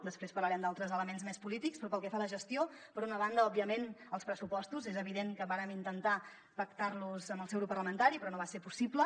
després parlarem d’altres elements més polítics però pel que fa a la gestió per una banda òbviament els pressupostos és evident que vàrem intentar pactar los amb el seu grup parlamentari però no va ser possible